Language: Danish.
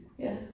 Ja